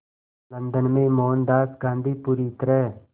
London में मोहनदास गांधी पूरी तरह